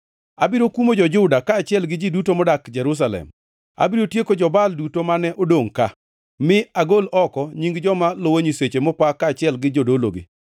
“Abiro kumo jo-Juda kaachiel gi ji duto modak Jerusalem. Abiro tieko jo-Baal duto mane odongʼ ka, mi agol oko nying joma luwo nyiseche mopa kaachiel gi jodologi.